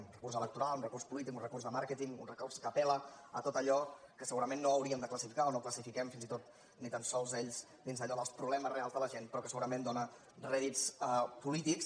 un recurs electoral un recurs polític un recurs de màrqueting un recurs que apel·la a tot allò que segurament no hauríem de classificar o no classifiquem fins i tot ni tan sols ells dins d’allò dels problemes reals de la gent però que segurament dóna rèdits polítics